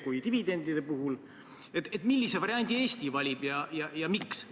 Ma ei tea, mulle tundub, et teistes komisjonides ei ole see niisama tavapärane.